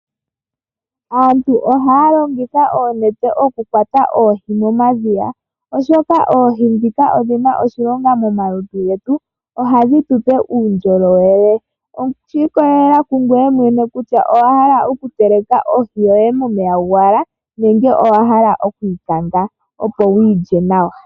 Aantu ohaya longitha oonete okukwata oohi momadhiya, oshoka oohi dhika odhina oshilonga momalutu getu, ohadhi tu ope uundjolowele. Osha ikolelela ku ngoye mwene kutya owa hala okuteleka ohi yoye momeya gowala, nenge owa hala oku yi kanga opo wu yi lye nawa.